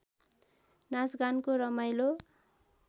नाचगानको रमाइलो